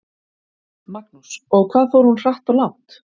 Magnús: Og hvað fór hún hratt og langt?